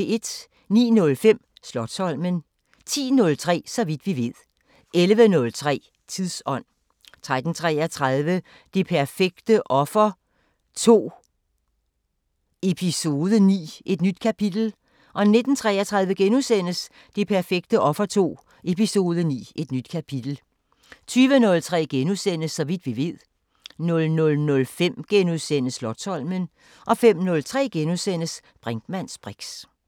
09:05: Slotsholmen 10:03: Så vidt vi ved 11:03: Tidsånd 13:33: Det perfekte offer II – Eps. 9 – Et nyt kapitel 19:33: Det perfekte offer II – Eps. 9 – Et nyt kapitel * 20:03: Så vidt vi ved * 00:05: Slotsholmen * 05:03: Brinkmanns briks *